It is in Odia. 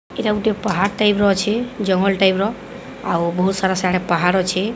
ଏଇଟା ଗୋଟେ ପାହାଡ ଟାଇପ ର ଅଛି ଜଙ୍ଗଲ ଟାଇପ ର ଆଉ ବହୁତ ସାରା ସିଆଡେ ପାହାଡ ଅଛି।